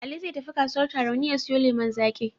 Ali zai tafi kasuwar Tarauni ya siyo lemon zaƙi.